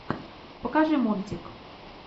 покажи мультик